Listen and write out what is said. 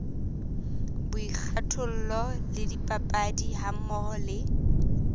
boikgathollo le dipapadi hammoho le